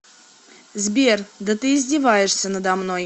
сбер да ты издеваешься надо мной